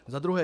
Za druhé.